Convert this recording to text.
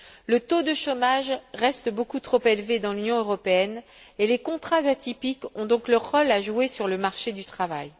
Le taux de chômage reste beaucoup trop élevé dans l'Union européenne et les contrats atypiques ont donc leur rôle à jouer sur le marché du travail.